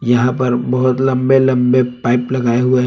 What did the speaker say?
यहां पर बहोत लंबे लंबे पाइप लगाए हुए --